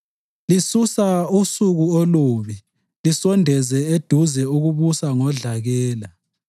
Lisusa usuku olubi lisondeze eduze ukubusa ngodlakela.